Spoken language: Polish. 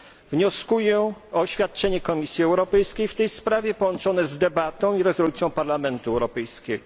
Wnioskuję o oświadczenie Komisji Europejskiej w tej sprawie połączone z debatą i rezolucją Parlamentu Europejskiego.